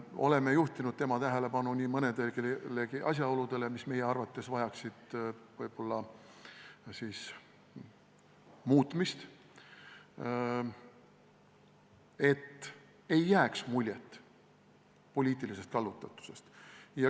Oleme juhtinud tema tähelepanu nii mõnelegi asjaolule, mis meie arvates vajaks muutmist, et ei jääks muljet poliitilisest kallutatusest.